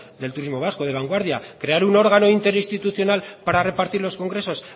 del turismo vasco de vanguardia crear un órgano interinstitucional para repartir los congresos